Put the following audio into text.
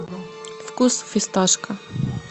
вкус фисташка